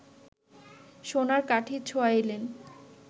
সোনার কাঠি ছোঁয়াইলেন